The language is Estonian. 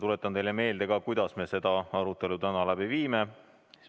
Tuletan teile meelde, kuidas me seda arutelu läbi viime.